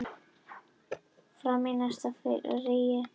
Marían, hversu margir dagar fram að næsta fríi?